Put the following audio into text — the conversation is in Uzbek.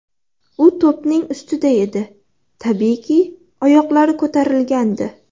U to‘pning ustida edi, tabiiyki, oyoqlari ko‘tarilgandi.